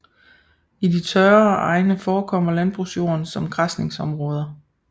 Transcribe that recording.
I de tørrere egne forekommer landbrugsjorden som græsningsområder